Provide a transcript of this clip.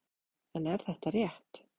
En er þetta rétt?